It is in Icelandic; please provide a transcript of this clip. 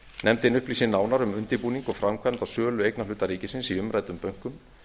nefndin upplýsi nánar um undirbúning og framkvæmd á sölu eignarhluta ríkisins í umræddum bönkum